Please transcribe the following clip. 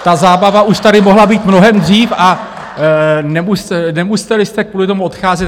Ta zábava už tady mohla být mnohem dřív a nemuseli jste kvůli tomu odcházet.